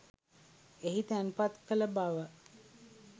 එහි තැන්පත් කළ බව